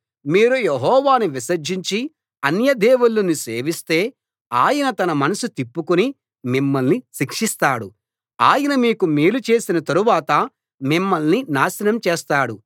మీరు యెహోవాను విసర్జించి అన్యదేవుళ్ళను సేవిస్తే ఆయన తన మనస్సు తిప్పుకుని మిమ్మల్ని శిక్షిస్తాడు ఆయన మీకు మేలు చేసిన తరువాత మిమ్మల్ని నాశనం చేస్తాడు